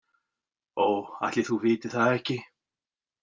Ó, ætli þú vitir það ekki